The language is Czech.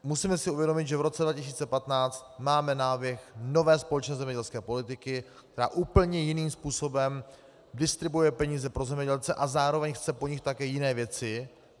Musíme si uvědomit, že v roce 2015 máme náběh nové společné zemědělské politiky, která úplně jiným způsobem distribuuje peníze pro zemědělce a zároveň chce po nich také jiné věci.